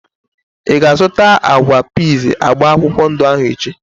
Ịga azụta agwa piiz agba akwụkwọ ndụ ahu echi?